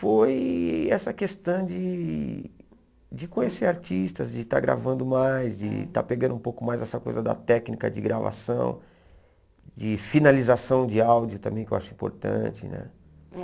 Foi essa questão de de conhecer artistas, de estar gravando mais, de estar pegando um pouco mais essa coisa da técnica de gravação, de finalização de áudio também, que eu acho importante né.